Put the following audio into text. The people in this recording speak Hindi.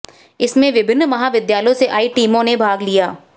इसमें विभिन्न महाविद्यालयों से आई टीमों ने भाग लिया